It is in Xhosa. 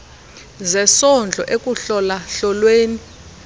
zesondlo ekuhlola hlolweni